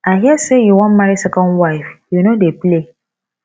i hear say you wan marry second wife you no dey play